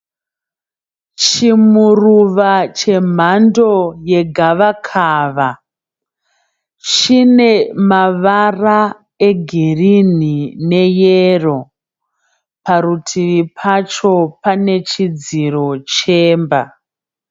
Chimuruva chemhando yegavakava. Chinemavara egirini ne yero. Parutivi pacho panechidziro chemba.